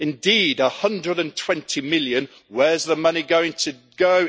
Indeed, EUR 120 million where is the money going to go?